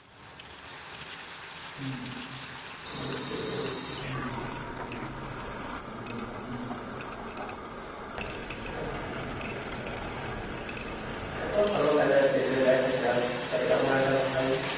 হম বুঝতে পেরেছি। না না ভাই ভালো কাজ আছে ভেবে লাভ নেই এটা এ সব ভেবে লাভ নেই ভালো কাজ আছে এটা। এটা তো ভালো কাজ আছে এটা দেখা যাক তাই আমার একটা ভাই